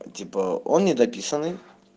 типа он недописанный